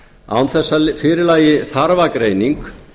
án þess að fyrir lægi þarfagreining